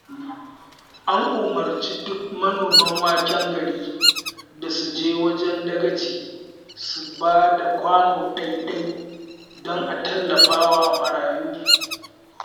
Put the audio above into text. An umarci duk manoman waken garin da su je wajen dagaci su ba da kwano ɗai-ɗai don tallafa wa marayu